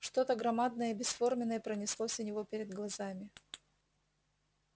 что то громадное и бесформенное пронеслось у него перед глазами